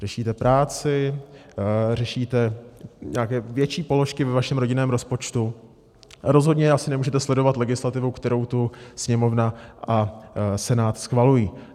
Řešíte práci, řešíte nějaké větší položky ve svém rodinném rozpočtu, rozhodně asi nemůžete sledovat legislativu, kterou tu Sněmovna a Senát schvalují.